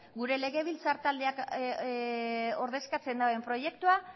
gure legebiltzar taldeak ordezkatzen duen proiektua